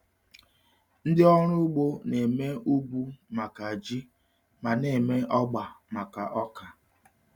Ndị ọrụ ugbo na-eme ugwu maka ji ma na-eme ọgba maka ọka.